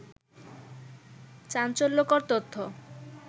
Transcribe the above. চাঞ্চল্যকর তথ্য